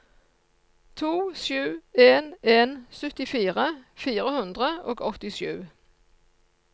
to sju en en syttifire fire hundre og åttisju